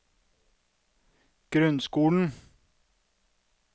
grunnskolen